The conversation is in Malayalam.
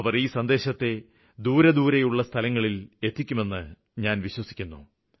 അവര് ഈ സന്ദേശത്തെ ദൂരസ്ഥലങ്ങളില്വരെ എത്തിക്കുമെന്ന് ഞാന് വിശ്വസിക്കുന്നു